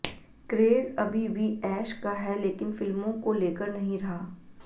craze अभी भी ऐश का है लेकिन फिल्मों को लेकर नहीं रहा